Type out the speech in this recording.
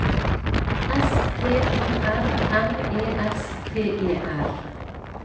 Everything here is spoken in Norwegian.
S T O R M E S T E R